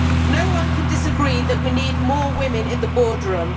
No one can disagree that we need more women in the boardroom.